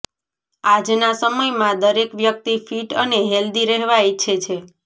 આજના સમયમાં દરેક વ્યક્તિ ફિટ અને હેલ્ધી રહેવા ઈચ્છે છે